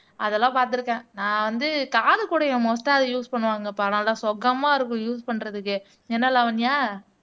அதெல்லாம் பார்த்திருக்கேன் நான் வந்து காது குடைய மோஸ்ட்டா அதை யூஸ் பண்ணுவாங்கப்பா நல்லா சுகமா இருக்கும் யூஸ் பண்றதுக்கு என்ன லாவண்யா